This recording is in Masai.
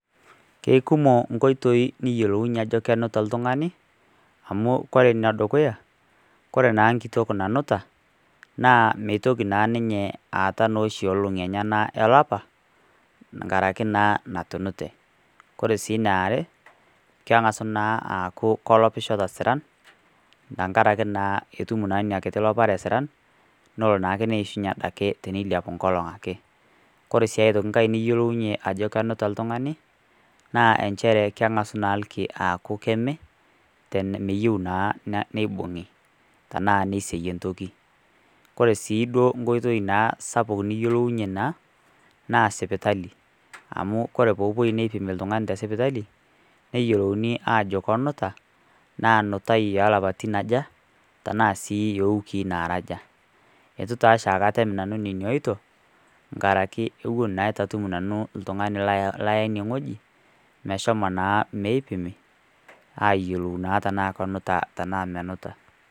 Ke kumok inkitoi niyolounye ajo kenuta oltung'ani, amu ore ene dukuya, kore naa nkituak nanuta, naa meitpoki naa ninye aatau noshi olong'i enyena olapa, enkaraki naa natunute. Kore sii ene are keng'asu sii aaku kolopisho te siran, enkaraki naa etum ina kiti lopare esiran, nelo naa ake eishunye teneilepu enkolong' ake. Kore sii aitoki nkai niyolounye ajokenuta oltung'ani, enchere keng'asu naa aaku ilki aaku keme, meyou naa neibung'i tanaa neiseiyie entoki. Kore sii duo naa nkoitoi sapuk niyolounye naa na sipitali. Amu kore poopuoi aipim oltung'ani naa te sipitali, neyolouni aajo kenuta, naa nutai o lapaitin aja, tanaa sii noo iwikii naara aja. Eitu taa ake oshiake nanu atum nena oito, nkarraiki ewuen eitu naa nanu atum oltung'ani laya ine wueji, meshomo naa meipimi, aayiolou naa tana enuta tanaa menuta.